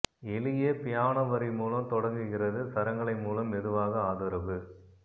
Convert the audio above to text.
எளிய பியானோ வரி மூலம் தொடங்குகிறது சரங்களை மூலம் மெதுவாக ஆதரவு